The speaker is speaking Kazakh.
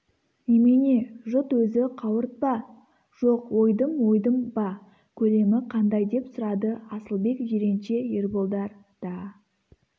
немене жұт өзі қауырт па жоқ ойдым-ойдым ба көлемі қандай деп сұрады асылбек жиренше ерболдар да